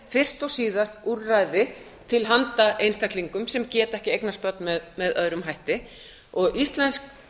og síðast úrræði til handa einstaklingum sem geta ekki eignast börn með öðrum hætti og íslenskt